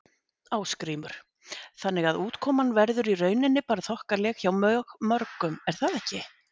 Ásgrímur: Þannig að útkoman verður í rauninni bara þokkaleg hjá mjög mörgum er það ekki?